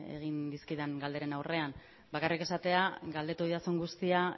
egin dizkidan galderen aurrean bakarrik esatea galdetu didazun guztia